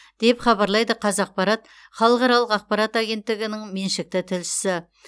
деп хабарлайды қазақпарат халықаралық ақпарат агенттігінің меншікті тілшісі